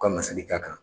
U ka nasiri t'a kan